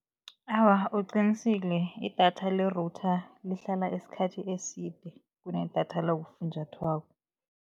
Awa, uqinisile idatha le-router lihlala isikhathi eside kunedatha lakufunjathwako.